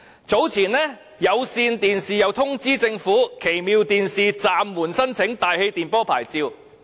早前，有線電視亦通知政府，旗下的奇妙電視將暫緩申請大氣電波頻譜。